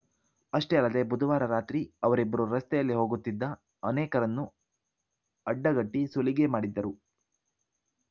ಅಷ್ಟೇ ಅಲ್ಲದೆ ಬುಧವಾರ ರಾತ್ರಿ ಅವರಿಬ್ಬರು ರಸ್ತೆಯಲ್ಲಿ ಹೋಗುತ್ತಿದ ಅನೇಕರನ್ನು ಅಡ್ಡಗಟ್ಟಿಸುಲಿಗೆ ಮಾಡಿದ್ದರು